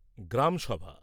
গ্রামসভা